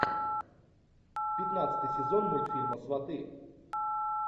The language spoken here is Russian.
пятнадцатый сезон мультфильма сваты